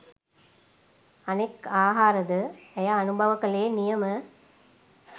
අනෙක් ආහාරද ඇය අනුභව කළේ නියම